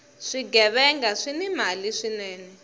swighevenga swini mali swinene